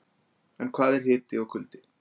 En hvað eru hiti og kuldi?